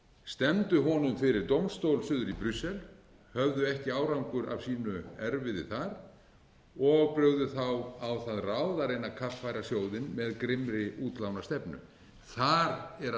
stefndu honum fyrir dómstól suður í brussel höfðu ekki árangur af sínu erfiði þar og brugðu þá á það ráð að reyna að kaffæra sjóðinn með grimmri útlánastefnu þar er að